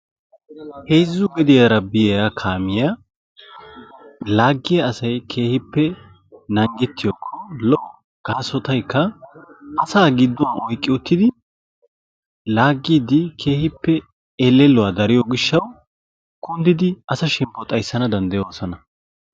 Heezzu gediyaa biyaa kaamiyaa laaggiya asay naagettiyakko keehippe lo''o gaasotaykka asa gidduwan oyqqi uttidi laaggidi keehippe elelluwa dariyo gishshaw kunddidi asa shemppo xayssanawu dandayoosona.